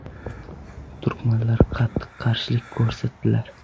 Turkmanlar qattiq qarshilik ko‘rsatdilar.